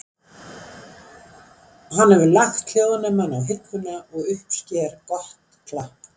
Hann hefur lagt hljóðnemann á hilluna og uppsker gott klapp.